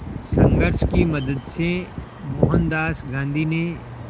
संघर्ष की मदद से मोहनदास गांधी ने